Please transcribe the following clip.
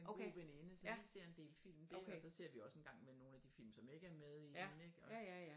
En god veninde så vi ser en del film dér og så ser vi også en gang imellem nogle af de film som ikke er med i den ik og